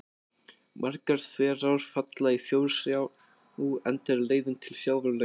Margar þverár falla í Þjórsá enda er leiðin til sjávar löng.